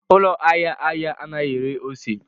Ụlọ ahịa ahịa anaghị ere ose